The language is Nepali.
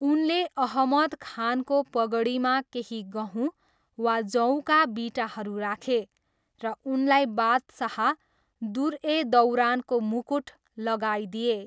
उनले अहमद खानको पगडीमा केही गहुँ वा जौका बिटाहरू राखे र उनलाई बादशाह, दुर ए दौरानको मुकुट लगाइदिए।